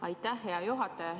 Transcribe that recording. Aitäh, hea juhataja!